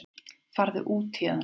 Farðu héðan út.